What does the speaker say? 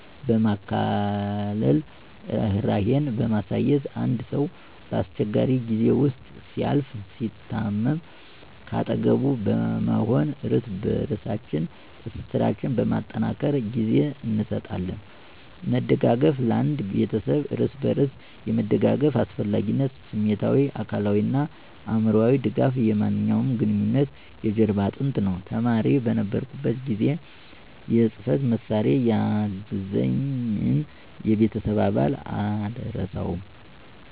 በማካፈል፣ ርህራሄን በማሳየት፣ አንድ ሰው በአስቸጋሪ ጊዜ ውስጥ ሲያልፍ፣ ሲታመም ከአጠገቡ በመሆን እርስ በበርሳችን ትስስራችን በማጠናከር ጊዜ እንሰጣለን። መደጋገፍ ለአንድ ቤተሰብ እርስ በርስ የመደጋገፍ አስፈላጊነት ስሜታዊ፣ አካላዊ እና አእምሮአዊ ድጋፍ የማንኛውም ግንኙነት የጀርባ አጥንት ነው። ተማሪ በነበርሁበት ጊዜ የጽህፈት መሳሪያ ያገዘኝን የቤተሰብ አባል አልረሳውም።